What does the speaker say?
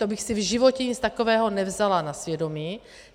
To bych si v životě nic takového nevzala na svědomí.